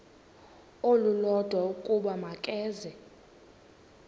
olulodwa ukuba makeze